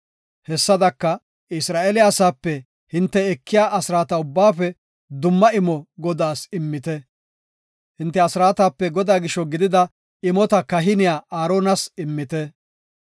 Hessadaka Isra7eele asaape hinte ekiya asraata ubbaafe dumma imo Godaas immite; hinte asraatape Godaa gisho gidida imota kahiniya Aaronas immite.